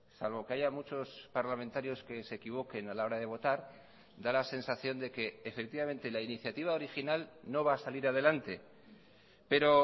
salvo que haya muchos parlamentarios que se equivoquen a la hora de votar da la sensación de que efectivamente la iniciativa original no va a salir adelante pero